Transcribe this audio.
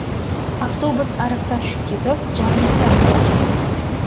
Avtobus ariqqa tushib ketib, jarlikdan qulagan.